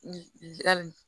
Ali